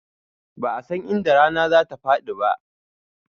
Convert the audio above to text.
Ba'a san inda rana za ta faɗi ba